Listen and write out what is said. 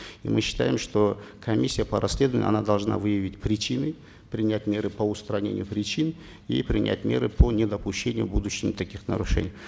и мы считаем что комиссия по расследованию она должна выявить причины принять меры по устранению причин и принять меры по недопущению в будущем таких нарушений